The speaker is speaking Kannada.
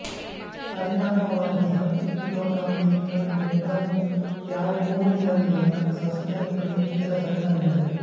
ಪರಿಣಾಮವಾಗಿ ಹತ್ತು ಕಿಲೊಗ್ರಾಂಗಿಂತಲೂ ದೊಡ್ಡವು ಯಾವುವೂ ಇರಲಿಲ್ಲ ಸಸ್ತನಿಗಳು ತೀರ ಸಣ್ಣವಿದ್ದವು